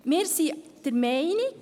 Wir sind der Meinung: